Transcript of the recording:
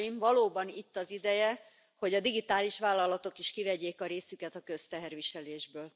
Valóban itt az ideje, hogy a digitális vállalatok is kivegyék a részüket a közteherviselésből.